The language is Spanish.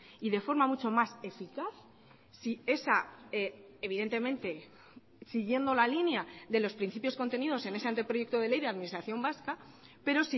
y de forma mucho más eficaz si esa evidentemente siguiendo la línea de los principios contenidos en ese anteproyecto de ley de administración vasca pero